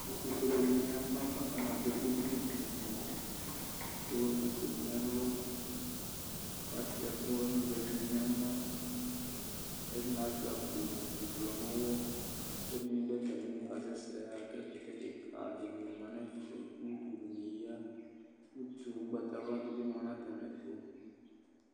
Ɛtʋfuele dɩnɩ yaba kʋ atanɩ adʋ ɛkʋ gblu gblu gblu kʋ ewu ɛkʋfuenɩ nʋ ɛlʋ kʋ asʋɩa ɛkʋvɛnɩ nʋ ɛmɔ Ɛdɩnɩ asʋɩa akpowʋ ʋblɔ nʋ ʋɣɔ kʋ ɛdɩnɩ dʋ atamɩli kasɛsɛ yaɣa kʋ ɛkʋtɛ kɩka dɩnɩ ma nʋ ɛfɛ Utu dɩnɩ ya, utu ʋgbatawla dɩ bɩ ma nʋ atamɩɛtʋ